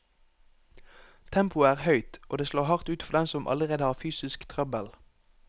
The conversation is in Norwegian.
Tempoet er høyt, og det slår hardt ut for dem som allerede har fysisk trøbbel.